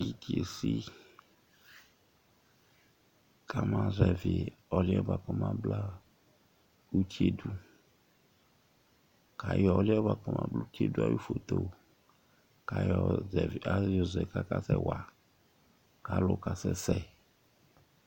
Iti esi kama zɛvi ɔli yɛ kɔma bla ʋti ye du kʋ ayɔ ɔli yɛ kɔma bla ʋti ye du ayʋ foto yɔ zɛ kʋ akasɛ wa kʋ alu kasɛsɛ